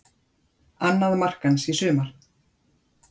Annað mark hans í sumar